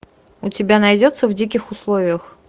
у тебя найдется в диких условиях